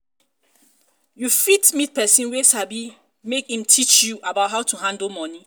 you fit meet person wey sabi make im teach you about how to handle money